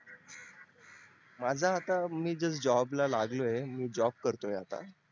माझ आत्ता मी just job ला लागलोय job करतोय आता